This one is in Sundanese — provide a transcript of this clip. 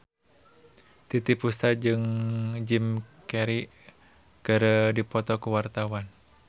Titiek Puspa jeung Jim Carey keur dipoto ku wartawan